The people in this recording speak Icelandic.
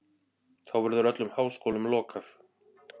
Þá verður öllum háskólum lokað.